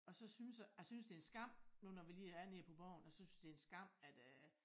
Og så synes jeg jeg synes det en skam nu når vi lige er nede på borgen og så synes det en skam at øh